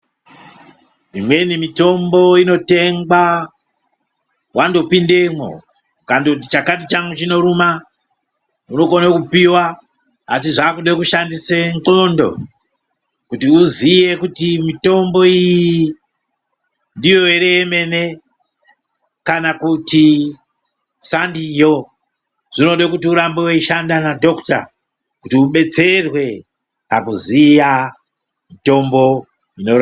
Imweni mitombo inotengwa wandopindamwo. Ukandoti chakati changu chinoruma unokona kupiwa asi zvakuda kushandisa ndxondo. Kuti uziye kuti mitombo iyi ndiyo ere yemene kana kuti sandiyo. Zvinoda kuti urambe weishanda nadhokota kuti ubetserwe pakuziya mitombo inorapa.